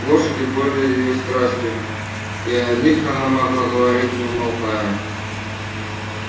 лошади были её страстью и о них она могла говорить не умолкая